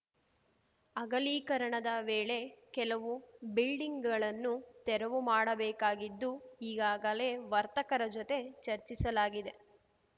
ಅಗಲೀಕರಣದ ವೇಳೆ ಕೆಲವು ಬಿಲ್ಡಿಂಗ್‌ಗಳನ್ನು ತೆರವು ಮಾಡಬೇಕಾಗಿದ್ದು ಈಗಾಗಲೇ ವರ್ತಕರ ಜೊತೆ ಚರ್ಚಿಸಲಾಗಿದೆ